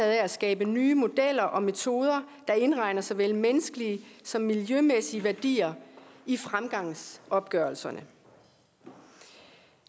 af at skabe nye modeller og metoder der indregner såvel menneskelige som miljømæssige værdier i fremgangsopgørelserne